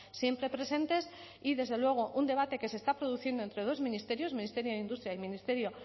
siempre presentes y desde luego un debate que se está produciendo entre dos ministerios ministerio de industria y ministerio